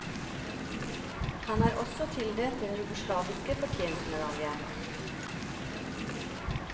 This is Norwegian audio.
Han er også tildelt den jugoslaviske fortjenstmedalje.